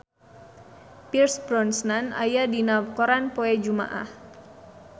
Pierce Brosnan aya dina koran poe Jumaah